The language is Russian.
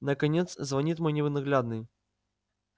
наконец звонит мой ненаглядный